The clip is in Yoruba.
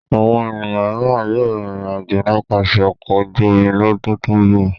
Àwọn ènìyàn mìíràn yóò rìnrìn-àjò nípasẹ̀ ọkọ̀ ojú-omi lọ́dún tó ń bọ̀.